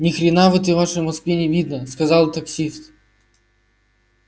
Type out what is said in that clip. ни хрена в этой вашей москве не видно сказал таксист